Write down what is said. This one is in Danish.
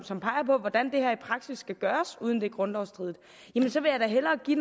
som peger på hvordan det her i praksis skal gøres uden at det er grundlovsstridigt så vil jeg da hellere give